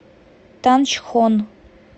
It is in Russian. танчхон